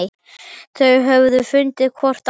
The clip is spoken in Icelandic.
Þau höfðu fundið hvort annað.